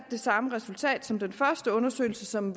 det samme resultat som den første undersøgelse som